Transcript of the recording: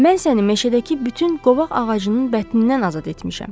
Mən səni meşədəki bütün qovaq ağacının bətnindən azad etmişəm.